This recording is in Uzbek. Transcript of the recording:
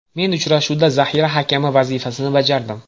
Men uchrashuvda zaxira hakami vazifasini bajardim.